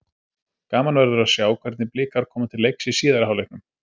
Gaman verður að sjá hvernig Blikar koma til leiks í síðari hálfleiknum.